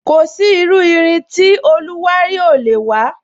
Kò sí iru irin tí irin oluwari ò lè wa